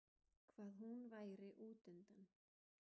Hvað hún væri útundan.